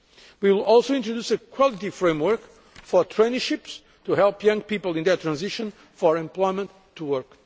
We will also introduce a quality framework for traineeships to help young people in their transition from education to work.